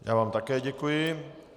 Já vám také děkuji.